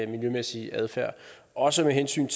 miljømæssig adfærd også med hensyn